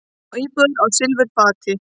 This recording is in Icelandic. Fá íbúðir á silfurfati